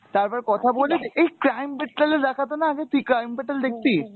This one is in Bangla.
তারপরে কথা বলে, এই crime petrol এ দেখাতোনা আগে তুই crime petrol দেখতিস?